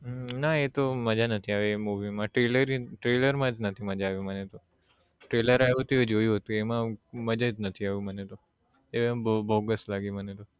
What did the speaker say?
હમ ના એ તો મજા નથી આવી એ movie માં trailer trailer માં જ નથી મજા આવ્યું મને તો trailer આવ્યુ તું એ જોયું હતું એમાં હું મજા જ નથી આવ્યું મને તો એ બહુ બહુ બોગસ લાગી મને તો